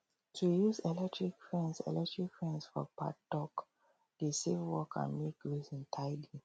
to use electric fence electric fence for paddock dey save work and make grazing tidy